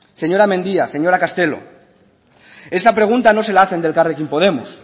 señora mendia señora castelo esta pregunta no se la hacen de elkarrekin podemos